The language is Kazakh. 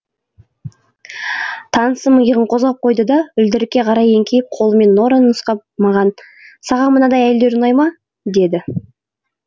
танысым иығын қозғап қойды да үлдірікке қарай еңкейіп қолымен нораны нұсқап маған саған мынадай әйелдер ұнай ма деді